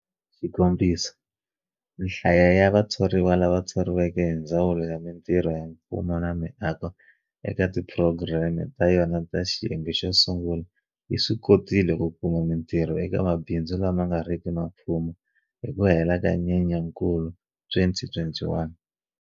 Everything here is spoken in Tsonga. Xikombiso, nhlayo ya vathoriwa lava thoriweke hi Ndzawulo ya Mitirho ya Mfumo na Miako eka tiphurogireme ta yona ta xiyenge xo sungula yi swi kotile ku kuma mitirho eka mabindzu lama nga riki ma mfumo hi ku hela ka Nyenyankulu 2021.